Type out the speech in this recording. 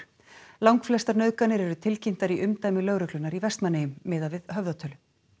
langflestar nauðganir eru tilkynntar í umdæmi lögreglunnar í Vestmannaeyjum miðað við höfðatölu